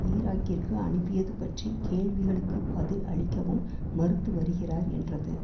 ஈராக்கிற்கு அனுப்பியது பற்றி கேள்விகளுக்குப் பதில் அளிக்கவும் மறுத்து வருகிறார் என்றது